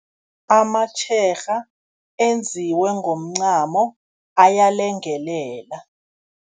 Amatjherha enziwe ngomncamo ayalengelela.